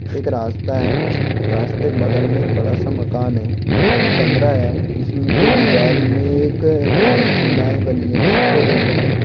एक रास्ता है रास्ते के बगल में एक बड़ा सा मकान है एक कमरा है जिसके दीवार में एक शिलाये बनी है चित्र बनी है।